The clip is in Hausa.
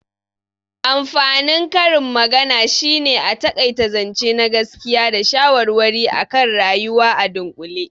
Amfanin karin magana shine a taƙaita zance na gaskiya da shawarwari akan rayuwa a dunƙule